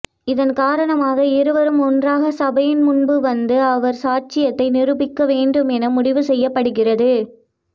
இதன் காரணமாக இருவரும் ஒன்றாகச் சபையின் முன்பு வந்து அவரவர் சாட்சியத்தை நிரூபிக்க வேண்டும் என முடிவு செய்யப்படுகிறது